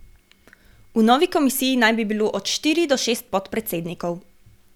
V novi komisiji naj bi bilo od štiri do šest podpredsednikov.